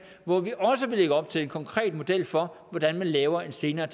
hvor vi også vil lægge op til en konkret model for hvordan man laver en senere